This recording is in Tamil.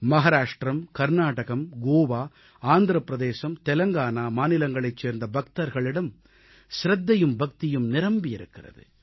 மகாராஷ்ட்ரம் கர்நாடகம் கோவா ஆந்திரப் பிரதேசம் தெலங்கானா மாநிலங்களைச் சேர்ந்த பக்தர்களிடம் சிரத்தையும் பக்தியும் நிரம்பி இருக்கிறது